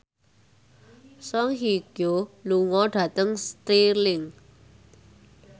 Song Hye Kyo lunga dhateng Stirling